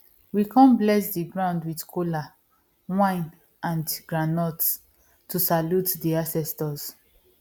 we come bless the ground with kola wine and groundnuts to salute the ancestors